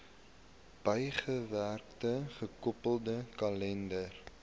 bygewerkte gekoppelde kalender